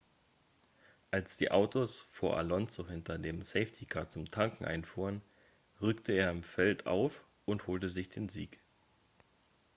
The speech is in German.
als die autos vor alonso hinter dem safety-car zum tanken einfuhren rückte er im feld auf und holte sich den sieg